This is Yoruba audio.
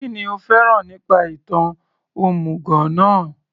Kínní o fẹ́ràn nípa ìtàn òmùgọ̀ náà